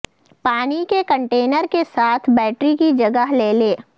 پانی کے کنٹینر کے ساتھ بیٹری کی جگہ لے لے